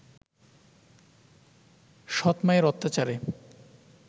সৎ-মায়ের অত্যাচারে